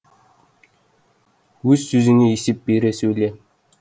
өз сөзіңе есеп бере сөйле